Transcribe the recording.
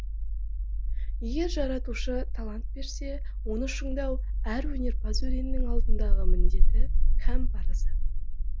егер жаратушы талант берсе оны шыңдау әр өнерпаз өреннің алдындағы міндеті һәм парызы